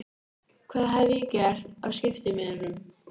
Hvað hef ég gert af skiptimiðanum?